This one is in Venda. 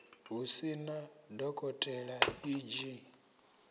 hu sina dokotela e g